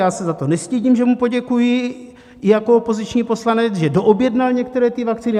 Já se za to nestydím, že mu poděkuji, i jako opoziční poslanec, že doobjednal některé ty vakcíny.